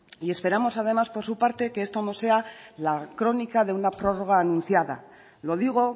y esperamos además por su parte que esto no sea la crónica de una prórroga anunciada lo digo